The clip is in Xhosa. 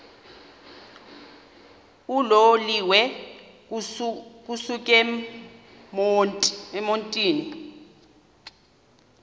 uloliwe ukusuk emontini